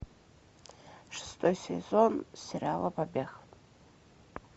шестой сезон сериала побег